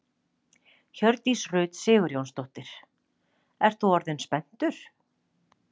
Hjördís Rut Sigurjónsdóttir: Ert þú orðinn spenntur?